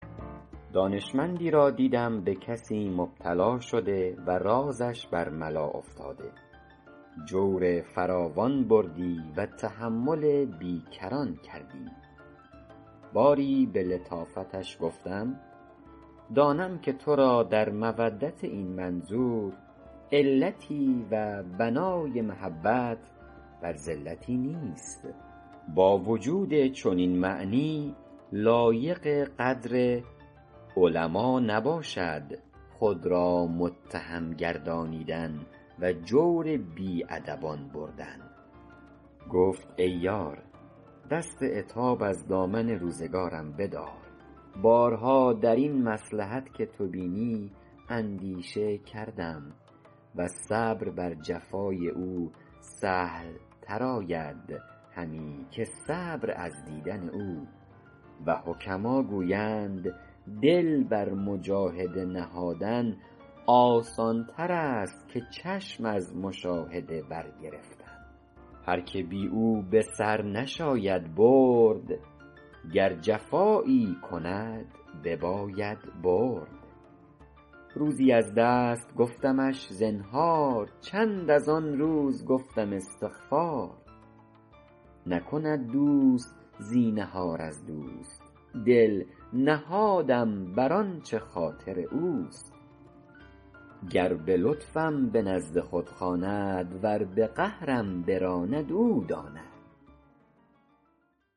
دانشمندی را دیدم به کسی مبتلا شده و رازش بر ملا افتاده جور فراوان بردی و تحمل بی کران کردی باری به لطافتش گفتم دانم که تو را در مودت این منظور علتی و بنای محبت بر زلتی نیست با وجود چنین معنی لایق قدر علما نباشد خود را متهم گردانیدن و جور بی ادبان بردن گفت ای یار دست عتاب از دامن روزگارم بدار بارها در این مصلحت که تو بینی اندیشه کردم و صبر بر جفای او سهل تر آید همی که صبر از دیدن او و حکما گویند دل بر مجاهده نهادن آسان تر است که چشم از مشاهده بر گرفتن هر که بی او به سر نشاید برد گر جفایی کند بباید برد روزی از دست گفتمش زنهار چند از آن روز گفتم استغفار نکند دوست زینهار از دوست دل نهادم بر آنچه خاطر اوست گر به لطفم به نزد خود خواند ور به قهرم براند او داند